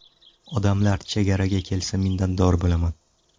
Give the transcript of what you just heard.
Odamlar chegaraga kelsa, minnatdor bo‘laman”.